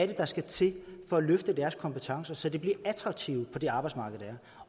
det der skal til for at løfte deres kompetencer så de bliver attraktive for det arbejdsmarked der